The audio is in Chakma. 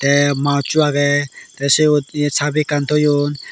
te mousecho age te siot chabi ekkan toyon.